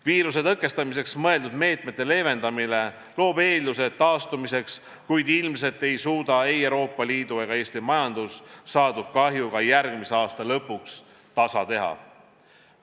Viiruse tõkestamiseks mõeldud meetmete leevendamine loob eeldused taastumiseks, kuid ilmselt ei suuda ei Euroopa Liidu ega Eesti majandus saadud kahju ka järgmise aasta lõpuks tasa teha.